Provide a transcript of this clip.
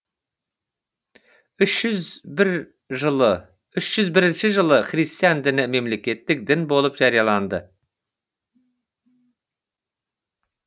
үш жүз бірінші жылы христиан діні мемлекеттік дін болып жарияланды